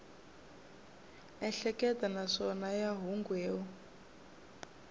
ehleketa naswona ya mahungu yo